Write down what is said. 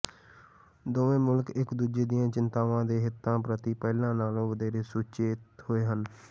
ਦੋਵੇਂ ਮੁਲਕ ਇਕ ਦੂਜੇ ਦੀਆਂ ਚਿੰਤਾਵਾਂ ਤੇ ਹਿੱਤਾਂ ਪ੍ਰਤੀ ਪਹਿਲਾਂ ਨਾਲੋਂ ਵਧੇਰੇ ਸੁਚੇਤ ਹੋਏ ਹਨ